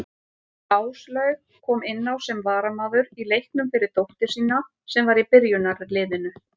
Áslaug kom inná sem varamaður í leiknum fyrir dóttur sína sem var í byrjunarliðinu.